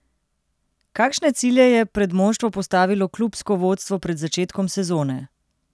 Kakšne cilje je pred moštvo postavilo klubsko vodstvo pred začetkom sezone?